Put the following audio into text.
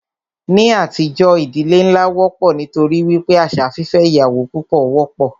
Ní àtijọ́, ìdílé nlá wọ́pọ̀ nítorí wípé àṣà fífẹ́ ìyàwó púpọ wọ́pọ̀.